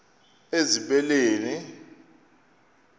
ezibeleni